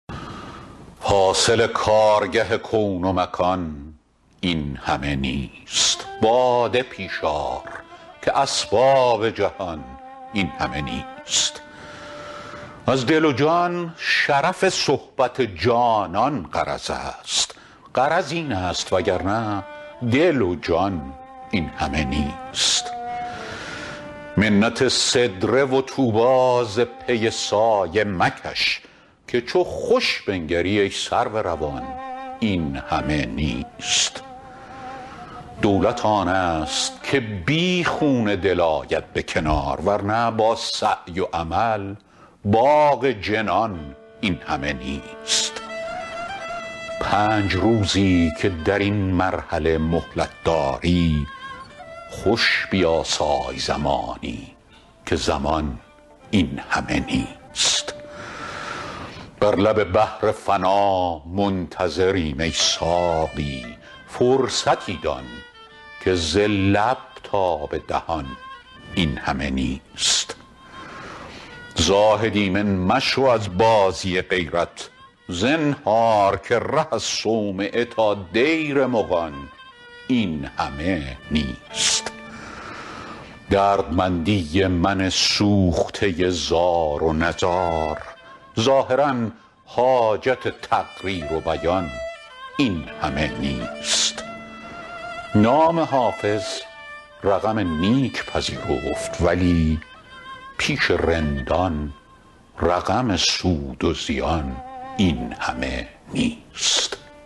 حاصل کارگه کون و مکان این همه نیست باده پیش آر که اسباب جهان این همه نیست از دل و جان شرف صحبت جانان غرض است غرض این است وگرنه دل و جان این همه نیست منت سدره و طوبی ز پی سایه مکش که چو خوش بنگری ای سرو روان این همه نیست دولت آن است که بی خون دل آید به کنار ور نه با سعی و عمل باغ جنان این همه نیست پنج روزی که در این مرحله مهلت داری خوش بیاسای زمانی که زمان این همه نیست بر لب بحر فنا منتظریم ای ساقی فرصتی دان که ز لب تا به دهان این همه نیست زاهد ایمن مشو از بازی غیرت زنهار که ره از صومعه تا دیر مغان این همه نیست دردمندی من سوخته زار و نزار ظاهرا حاجت تقریر و بیان این همه نیست نام حافظ رقم نیک پذیرفت ولی پیش رندان رقم سود و زیان این همه نیست